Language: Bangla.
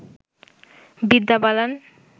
বিদ্যা বালান